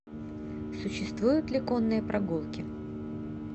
существуют ли конные прогулки